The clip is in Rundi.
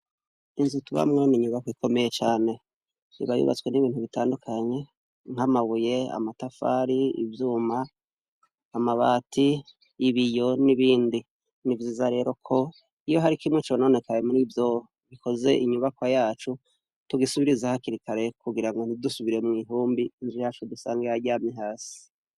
Inzu tubamwo n' inyubakwa ikomeye cane . Iba yubatswe n'ibintu bitandukanye nk'amabuye ,amatafari ,ivyuma ,amabati ,ibiyo n'ibindi. Ni vyiza rero ko iyo hari kimwe cononekaye muri vyo bikoze inyubakwa yacu, tugisubiriza hakiri kare kugira ngo ntidusubire mw'ihumbi ,inzu yacu dusange yaryamye hasi.